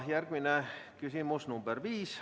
Järgmine küsimus, nr 5.